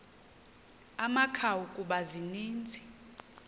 amakhawu kuba zininzi